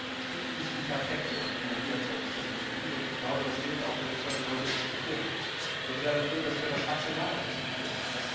Es gibt nicht die perfekte Energieerzeugungstechnologie. Und ich glaube, das gilt auch für das, was wir heute hier diskutieren. Ich bin sehr dafür, dass wir das rational diskutieren.